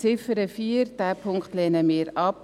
Ziffer 4 lehnen wir ab.